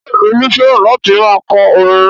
Ṣé Olú fẹ́ràn láti máa kọ orin?